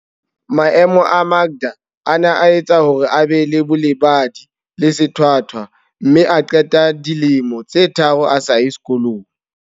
Maemo a Makda a ne a etsa hore a be le bolebadi le sethwa thwa mme a qeta dilemo tse tharo a sa ye sekolong.